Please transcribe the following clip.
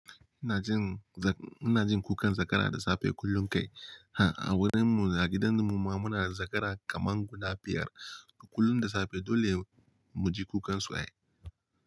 Ina jin, ina jin kukan zakara da safe kullum kai. Ha a wurin mu, a gidan mu ma muna da zakara kaman guda biyar. Kullum da safe dole mu ji kukansu wa.